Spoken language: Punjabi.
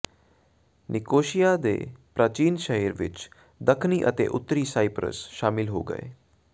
ਨਿਕੋਸ਼ੀਆ ਦੇ ਪ੍ਰਾਚੀਨ ਸ਼ਹਿਰ ਵਿਚ ਦੱਖਣੀ ਅਤੇ ਉੱਤਰੀ ਸਾਈਪ੍ਰਸ ਸ਼ਾਮਲ ਹੋ ਗਏ